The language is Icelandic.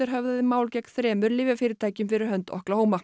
höfðaði mál gegn þremur lyfjafyrirtækjum fyrir hönd